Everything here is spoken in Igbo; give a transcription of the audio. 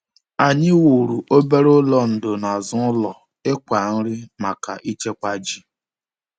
Anyị wuru obere ụlọ ndò n’azụ ụlọ ịkwá nri maka ịchekwa ji.